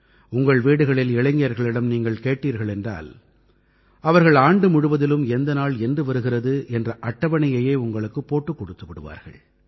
உங்கள் வீடுகளில் இளைஞர்களிடம் நீங்கள் கேட்டீர்கள் என்றால் அவர்கள் ஆண்டு முழுவதிலும் எந்த நாள் என்று வருகிறது என்ற அட்டவணையையே உங்களுக்குப் போட்டுக் கொடுத்து விடுவார்கள்